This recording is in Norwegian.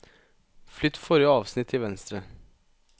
Flytt forrige avsnitt til venstre